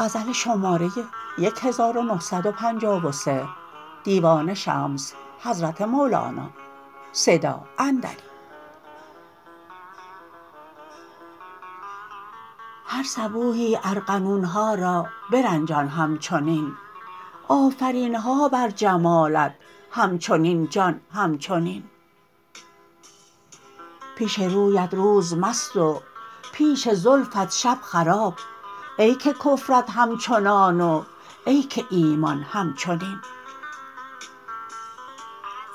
هر صبوحی ارغنون ها را برنجان همچنین آفرین ها بر جمالت همچنین جان همچنین پیش رویت روز مست و پیش زلفت شب خراب ای که کفرت همچنان و ای که ایمان همچنین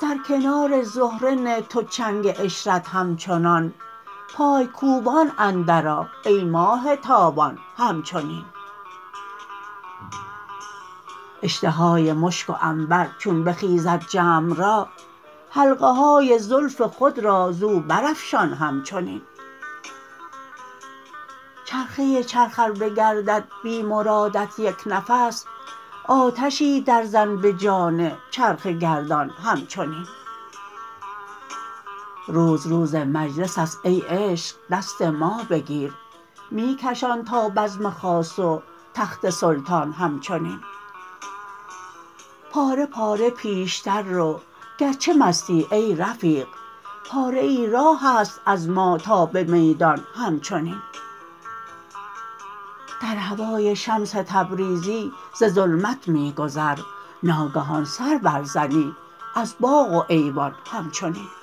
در کنار زهره نه تو چنگ عشرت همچنان پای کوبان اندرآ ای ماه تابان همچنین اشتهای مشک و عنبر چون بخیزد جمع را حلقه های زلف خود را زو برافشان همچنین چرخه چرخ ار بگردد بی مرادت یک نفس آتشی درزن به جان چرخ گردان همچنین روز روز مجلس است ای عشق دست ما بگیر می کشان تا بزم خاص و تخت سلطان همچنین پاره پاره پیشتر رو گرچه مستی ای رفیق پاره ای راه است از ما تا به میدان همچنین در هوای شمس تبریزی ز ظلمت می گذر ناگهان سر برزنی از باغ و ایوان همچنین